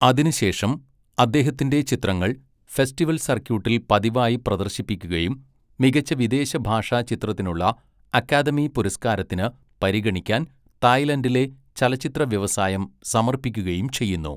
അതിനുശേഷം, അദ്ദേഹത്തിന്റെ ചിത്രങ്ങൾ ഫെസ്റ്റിവൽ സർക്യൂട്ടിൽ പതിവായി പ്രദർശിപ്പിക്കുകയും മികച്ച വിദേശഭാഷാ ചിത്രത്തിനുള്ള അക്കാദമി പുരസ്കാരത്തിന് പരിഗണിക്കാൻ തായ്ലൻഡിലെ ചലച്ചിത്ര വ്യവസായം സമർപ്പിക്കുകയും ചെയ്യുന്നു.